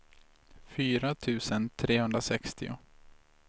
fyra tusen trehundrasextio